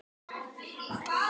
Það sleppa fáir.